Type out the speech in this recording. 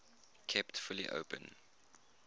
kept fully open